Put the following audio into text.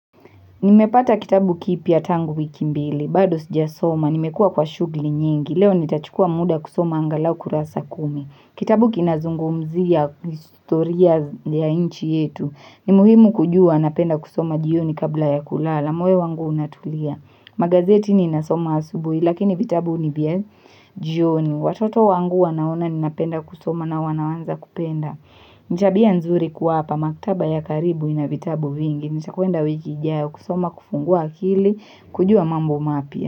Nimepata kitabu kipya tangu wiki mbili, bado sijasoma, nimekuwa kwa shughuli nyingi, leo nitachukua muda kusoma angalau kurasa kumi. Kitabu kinazungumzia historia ya nchi yetu, ni muhimu kujua napenda kusoma jioni kabla ya kulala, moyo wangu unatulia. Magazeti ninasoma asubuhi lakini vitabu ni vya jioni. Watoto wangu wanaona ninapenda kusoma na wanaanza kupenda ni tabia nzuri kuwapa, maktaba ya karibu ina vitabu vingi. Nitakwenda wiki ijayo kusoma kufungua akili, kujua mambo mapya.